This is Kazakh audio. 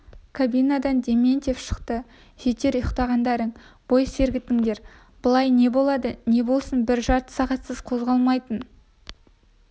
кабинадан дементьев шықты жетер ұйықтағандарың бой сертігіңдер былай не болды не болсын бір жарты сағатсыз қозғалмайтын